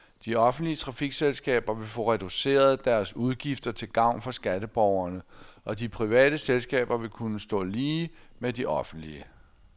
De offentlige trafikselskaber vil få reduceret deres udgifter til gavn for skatteborgerne, og de private selskaber vil kunne stå lige med de offentlige.